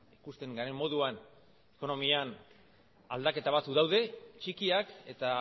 ikusten garen moduan ekonomian aldaketa batzuk daude txikiak eta